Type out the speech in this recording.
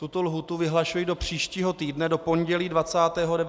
Tuto lhůtu vyhlašuji do příštího týdne do pondělí 29. září do 12 hodin.